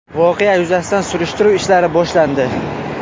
Voqea yuzasidan surishtiruv ishlari boshlandi.